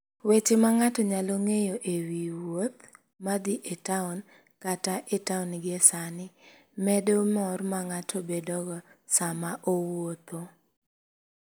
Weche ma ng'ato nyalo ng'eyo e wi wuoth ma dhi e taon kata e taon gie sani, medo mor ma ng'ato bedogo sama owuotho.